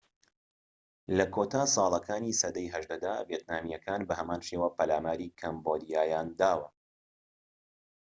لە کۆتا ساڵەکانی سەدەی ١٨ دا، ڤێتنامیەکان بەهەمان شێوە پەلاماری کەمبۆدیایان داوە